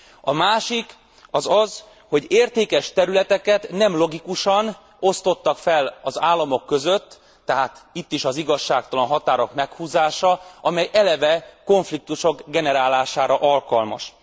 A másik az az, hogy értékes területeket nem logikusan osztottak fel az államok között, tehát itt is az igazságtalan határok meghúzása, amely eleve konfliktusok generálására alkalmas.